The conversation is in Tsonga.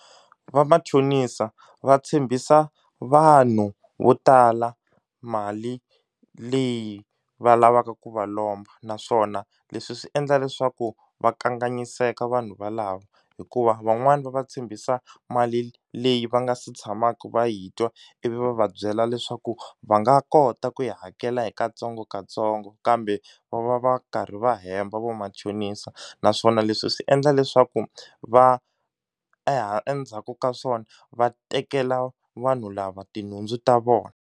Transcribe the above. Va machonisa va tshembisa vanhu vo tala mali leyi va lavaka ku va lomba naswona leswi swi endla leswaku va kanganyiseka vanhu valava hikuva van'wani va va tshembisa mali leyi va nga si tshamaku va yi twa ivi va va byela leswaku va nga kota ku yi hakela hi katsongokatsongo kambe va va va karhi va hemba vo machonisa naswona leswi swi endla leswaku va endzhaku ka swona va tekela vanhu lava tinhundzu ta vona.